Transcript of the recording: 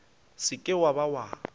se ke wa be wa